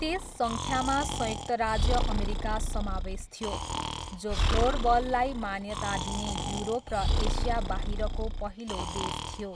त्यस सङ्ख्यामा संयुक्त राज्य अमेरिका समावेश थियो, जो फ्लोरबललाई मान्यता दिने युरोप र एसियाबाहिरको पहिलो देश थियो।